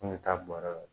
N bɛ taa bɔrɔ la